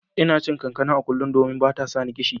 Ina cin kankana a kullum, domin bata sani kishi.